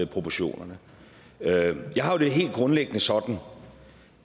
proportionerne jeg har det helt grundlæggende sådan